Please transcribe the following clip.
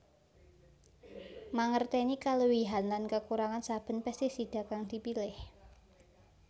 Mangertèni kaluwihan lan kekurangan saben pestisida kang dipilih